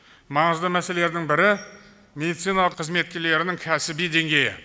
маңызды мәселелердің бірі медицина қызметкерлерінің кәсіби деңгейі